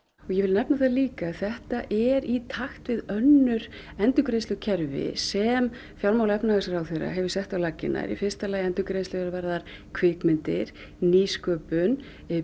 ég vil nefna það líka að þetta er í takt við önnur endurgreiðslukerfi sem fjármála og efnahagsráðherra hefur sett á laggirnar í fyrsta lagi endurgreiðslur er varðar kvikmyndir nýsköpun